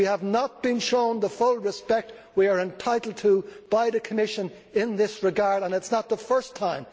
We have not been shown the full respect we are entitled to by the Commission in this regard, and it is not the first time.